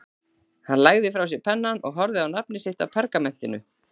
Hann lagði frá sér pennann og horfði á nafnið sitt á pergamentinu.